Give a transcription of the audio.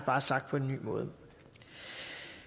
bare sagt på en ny måde